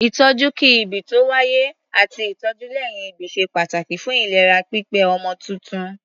Ìtọ́jú kí-ìbí-tó-wáyé àti ìtọ́jú lẹ́yìn-ìbí ṣe pàtàkì fún ìlera pípé ọmọ tuntun.